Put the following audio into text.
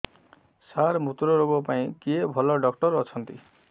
ସାର ମୁତ୍ରରୋଗ ପାଇଁ କିଏ ଭଲ ଡକ୍ଟର ଅଛନ୍ତି